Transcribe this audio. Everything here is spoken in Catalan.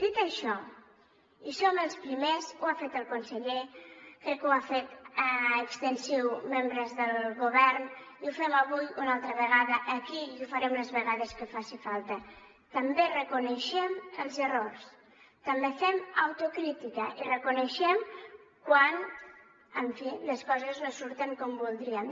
dit això i som els primers ho ha fet el conseller crec que ho ha fet extensiu a membres del govern i ho fem avui una altra vegada aquí i ho farem les vegades que faci falta també reconeixem els errors també fem autocrítica i reconeixem quan en fi les coses no surten com voldríem